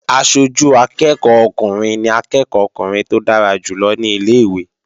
Aṣojú akẹ́ẹ̀kọ́ ọkùnrin ni akẹ́ẹ̀kọ́ ọkùnrin tó dára jù lọ ní ilé-ìwé